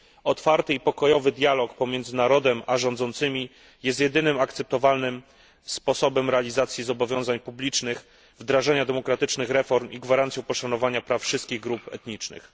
Otwarty i pokojowy dialog między narodem a rządzącymi jest jedynym akceptowalnym sposobem realizacji zobowiązań publicznych, wdrażania demokratycznych reform i gwarancją poszanowania praw wszystkich grup etnicznych.